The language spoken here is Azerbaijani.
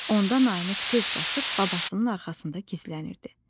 Onda Namiq tez qaçıb babasının arxasında gizlənirdi.